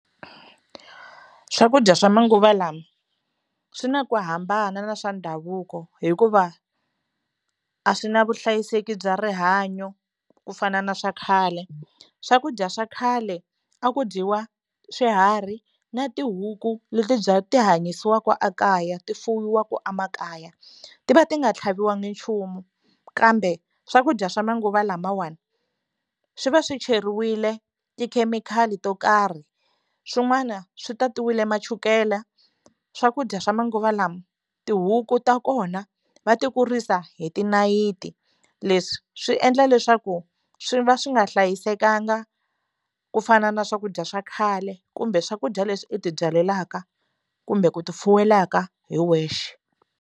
Swakudya swa manguva lawa swi na ku hambana na swa ndhavuko hikuva a swi na vuhlayiseki bya rihanyo ku fana na swa khale swakudya swa khale a ku dyiwa swiharhi na tihuku leti bya ti hanyisiwaka ekaya ti fuyiwaka emakaya ti va ti nga tlhaviwanga nchumu kambe swakudya swa manguva lamawani swi va swi cheriwile tikhemikhali to karhi swin'wana swi tatiwile ma chukela swakudya swa manguva lawa tihuku ta kona va ti kurisa hi tinayiti leswi swi endla leswaku swi va swi nga hlayisekanga ku fana na swakudya swa khale kumbe swakudya leswi i ti byalaka kumbe ku ti fuwelaka hi wexe.